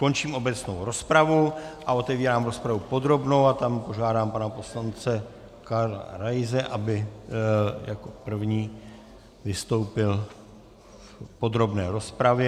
Končím obecnou rozpravu a otevírám rozpravu podrobnou a tam požádám pana poslance Karla Raise, aby jako první vystoupil v podrobné rozpravě.